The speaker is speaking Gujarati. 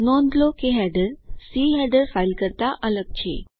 નોંધ લો કે હેડર સી હેડર ફાઇલ કરતા અલગ છે